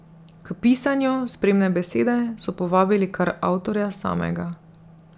K pisanju spremne besede so povabili kar avtorja samega.